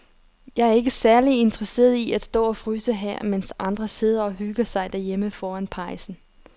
Jeg er ikke særlig interesseret i at stå og fryse her, mens de andre sidder og hygger sig derhjemme foran pejsen.